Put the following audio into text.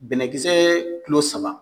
Bɛnɛkisɛ kilo saba